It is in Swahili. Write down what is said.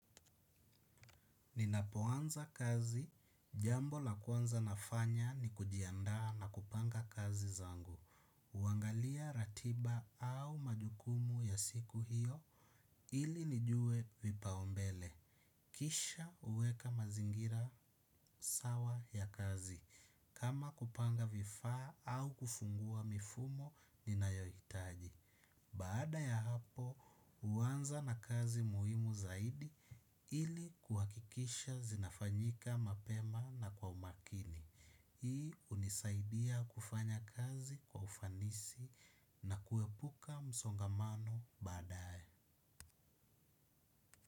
Ninapoanza kazi jambo la kwanza ninafanya ni kujiandaa na kupanga kazi zangu huangalia ratiba au majukumu ya siku hiyo ili nijue vipaumbele. Kisha uweka mazingira sawa ya kazi. Kama kupanga vifaa au kufungua mifumo ninayo hitaji. Baada ya hapo, huanza na kazi muhimu zaidi ili kuhakikisha zinafanyika mapema na kwa umakini. Hii hunisaidia kufanya kazi kwa ufanisi na kuepuka msongamano baadae.